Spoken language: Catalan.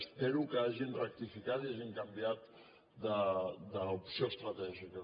espero que hagin rectificat i hagin canviat d’opció estratègica